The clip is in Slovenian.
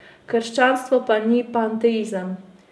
Krščanstvo pa ni panteizem!